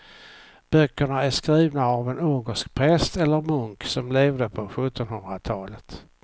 Böckerna är skrivna av en ungersk präst eller munk som levde på sjuttonhundratalet.